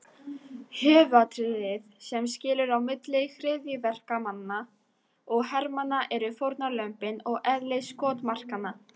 Höfuðatriðið sem skilur á milli hryðjuverkamanna og hermanna eru fórnarlömbin og eðli skotmarkanna.